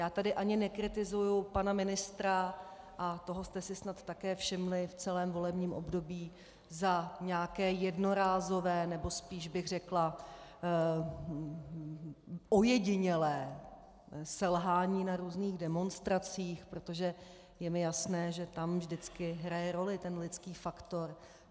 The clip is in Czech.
Já tady ani nekritizuji pana ministra, a toho jste si snad také všimli v celém volebním období, za nějaké jednorázové, nebo spíš bych řekla ojedinělé selhání na různých demonstracích, protože je mi jasné, že tam vždycky hraje roli ten lidský faktor.